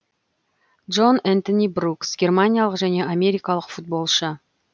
джон энтони брукс германиялық және америкалық футболшы